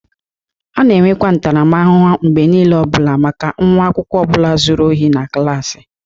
A na-enweta ntaramahụhụ mgbe niile maka nwa akwụkwọ ọ bụla zuru ohi na klaasị.